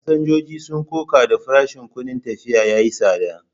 Fasinjojin sun koka da farashin kudin tafiya yayi tsada.